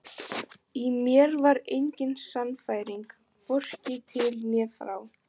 Í mér var engin sannfæring, hvorki til né frá.